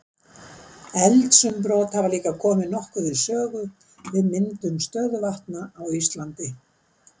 Eldsumbrot hafa líka komið nokkuð við sögu við myndun stöðuvatna á Íslandi.